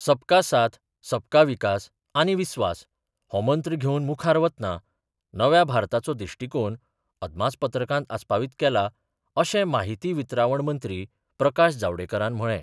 सबका साथ सबका विकास आनी विस्वास हो मंत्र घेवन मुखार वतना नव्या भारताचो दृश्टीकोन अदमासपत्रकांत आस्पावीत केला अशें माहिती वितरावण मंत्री प्रकाश जावडेकरान म्हळें.